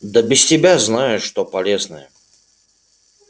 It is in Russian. да без тебя знаю что полезное